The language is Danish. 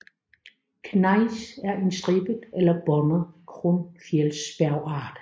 Gnejs er en stribet eller båndet grundfjeldsbjergart